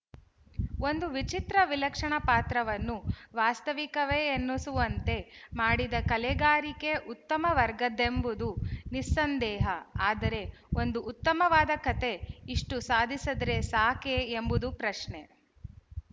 ಒಂದು ವಿಚಿತ್ರ ವಿಲಕ್ಷಣ ಪಾತ್ರವನ್ನು ವಾಸ್ತವಿಕವೆನ್ನಿಸುವಂತೆ ಮಾಡಿದ ಕಲೆಗಾರಿಕೆ ಉತ್ತಮ ವರ್ಗದ್ದೆಂಬುದು ನಿಸ್ಸಂದೇಹ ಆದರೆ ಒಂದು ಉತ್ತಮವಾದ ಕಥೆ ಇಷ್ಟು ಸಾಧಿಸಿದರೆ ಸಾಕೆ ಎಂಬುದು ಪ್ರಶ್ನೆ